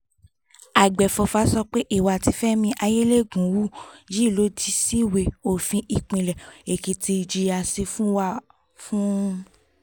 àgbẹ̀fọ́fà sọ pé ìwà tí fẹmi ayẹ́lẹ́gùn hù yìí lòdì síwèé òfin ìpínlẹ̀ èkìtì ìjìyà sì wà fún un